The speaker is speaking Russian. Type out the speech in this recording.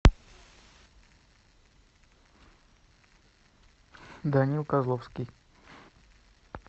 данила козловский